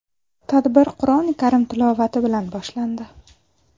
Tadbir Qur’oni karim tilovati bilan boshlandi.